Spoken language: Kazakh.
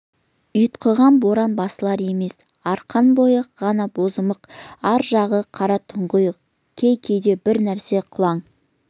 ұйтқыған боран басылар емес арқан бойы ғана бозамық ар жағы қара тұңғиық кей-кейде бір нәрсе қылаң